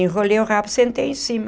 Enrolei o rabo, sentei em cima.